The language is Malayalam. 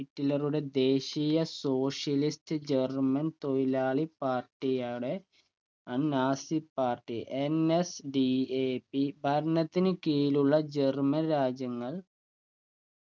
ഹിറ്റ്ലറുടെ ദേശീയ socialist german തൊഴിലാളി party ആണ് അഹ് നാസി പാർട്ടി NSDAP ഭരണത്തിന് കീഴിലുള്ള german രാജ്യങ്ങൾ